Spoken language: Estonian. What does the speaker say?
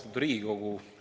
Austatud Riigikogu!